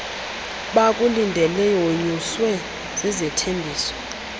bakulindeleyo wonyuswe zizithembiso